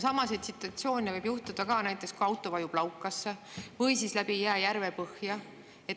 Sama situatsioon võib tekkida ka näiteks siis, kui auto vajub laukasse või läbi jää järvepõhja.